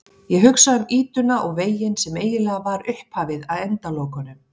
Ég hugsa um ýtuna og veginn sem eiginlega var upphafið að endalokunum.